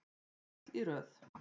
Öll í röð.